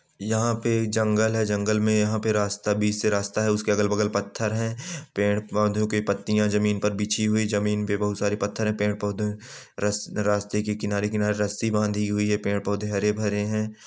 यहाँ पे एक जंगल है जंगल में यहाँ पे रास्ता बीच से रास्ता है उसके अगल-बगल पत्थर हैं पेड़-पौधो की पत्तियाँ जमीन पर बिछी हुई जमीन पे बहुत सारे पत्थर हैं पेड़-पौधों रास्ते के किनारे-किनारे रस्सी बाँधी हुई हैं पेड़-पौधे हरे-भरे है।